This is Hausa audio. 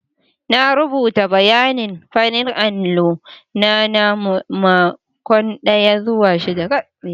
Na rubuta bayanin farin allo na na makon daya zuwa shida.